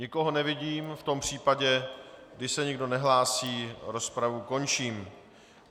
Nikoho nevidím, v tom případě, když se nikdo nehlásí, rozpravu končím.